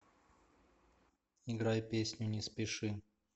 играй песню не спеши